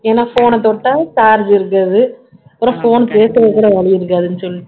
ஏன்னா phone ன தொட்டா charge இருக்காது அப்புறம் phone பேசறதுக்கு கூட வழி இருக்காதுன்னு சொல்லிட்டு